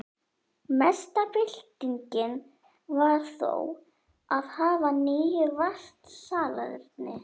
Mesta byltingin var þó að hafa nú vatnssalerni.